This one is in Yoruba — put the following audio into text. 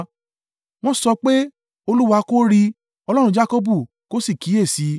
Wọ́n sọ pé, “Olúwa kò rí i; Ọlọ́run Jakọbu kò sì kíyèsi i.”